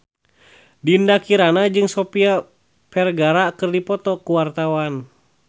Dinda Kirana jeung Sofia Vergara keur dipoto ku wartawan